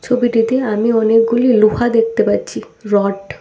ছবিটিতে আমি অনেকগুলি লোহা দেখতে পাচ্ছি রড ।